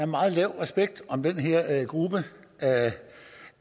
meget lav respekt om den her gruppe af